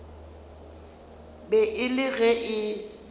be e le ge e